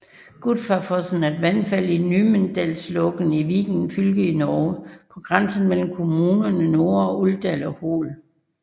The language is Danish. Godfarfossen er et vandfald i Numedalslågen i Viken fylke i Norge på grænsen mellem kommunerne Nore og Uvdal og Hol